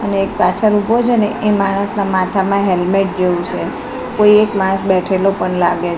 અને એક પાછળ ઉભો છે ને એ માનસના માથામાં હેલ્મેટ જેવું છે કોઈ એક માનસ બેઠેલો પણ લાગે--